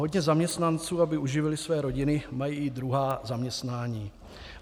Hodně zaměstnanců, aby uživili své rodiny, má i druhá zaměstnání.